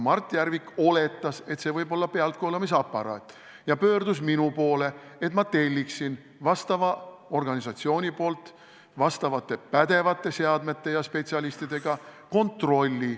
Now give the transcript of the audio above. Mart Järvik oletas, et see võib olla pealtkuulamisaparaat, ja pöördus minu poole, et ma telliksin vastava organisatsiooni spetsialistide pädevate seadmetega tehtava kontrolli.